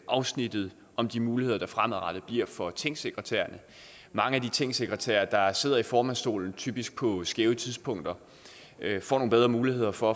afsnittet om de muligheder der fremadrettet bliver for tingsekretærerne mange af de tingsekretærer der sidder i formandsstolen typisk på skæve tidspunkter får nogle bedre muligheder for